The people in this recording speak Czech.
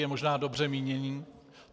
Je možná dobře míněný.